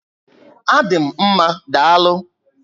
A dị m mmá, daalụ